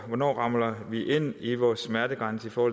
hvornår ramler vi ind i vores smertegrænse for